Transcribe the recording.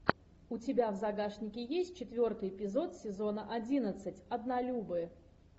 у тебя в загашнике есть четвертый эпизод сезона одиннадцать однолюбы